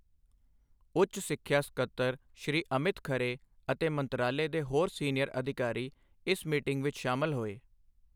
ਉੱਚ ਸਿੱਖਿਆ ਸਕੱਤਰ ਸ਼਼੍ਰੀ ਅਮਿਤ ਖਰੇ ਅਤੇ ਮੰਤਰਾਲੇ ਦੇ ਹੋਰ ਸੀਨੀਅਰ ਅਧਿਕਾਰੀ ਇਸ ਮੀਟਿੰਗ ਵਿੱਚ ਸ਼ਾਮਲ ਹੋਏ।